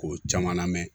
K'o caman lamɛn